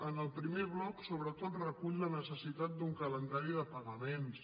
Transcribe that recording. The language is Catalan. en el primer bloc sobretot recull la necessitat d’un calendari de pagaments